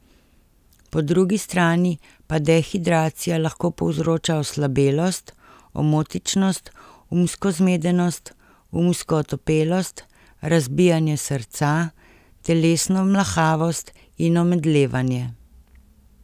Po drugi strani pa dehidracija lahko povzroča oslabelost, omotičnost, umsko zmedenost, umsko otopelost, razbijanje srca, telesno mlahavost in omedlevanje.